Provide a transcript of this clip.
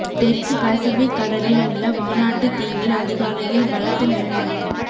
தெற்கு பசிபிக் கடலில் உள்ள வானாட்டு தீவில் அதிகாலையில் பலத்த நிலநடுக்கம்